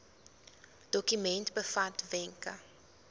dokument bevat wenke